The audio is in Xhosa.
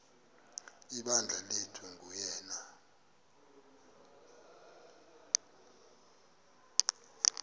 ibandla lathi nguyena